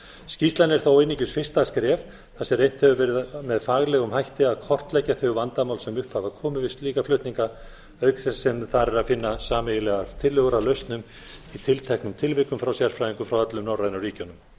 skýrslan er þó einungis fyrsta skref þar sem reynt hefur verið á faglegum hætti að kortleggja þau vandamál sem upp hafa komið við slíka flutninga auk þess sem þar er að finna sameiginlegar tillögur að lausnum í tilteknum tilvikum frá sérfræðingum frá öllum norrænu